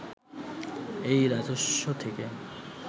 এই রাজস্ব থেকে